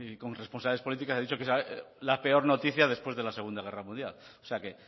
con responsabilidad política ha dicho que es la peor noticia después de la segunda guerra mundial o sea que